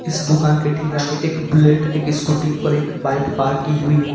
इस दुकान के ठीक आगे एक बुलेट एक स्कूटी और एक बाइक पार्क की हुई है।